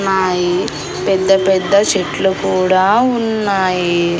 నాయి పెద్ద పెద్ద చెట్లు కూడా ఉన్నాయి.